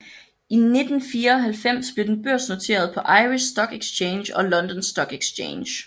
I 1994 blev den børsnoteret på Irish Stock Exchange og London Stock Exchange